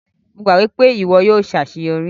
Mo gbagbọ pe iwọ yóò ṣaṣeyọri.